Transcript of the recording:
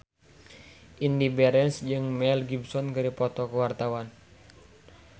Indy Barens jeung Mel Gibson keur dipoto ku wartawan